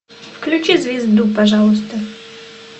включи звезду пожалуйста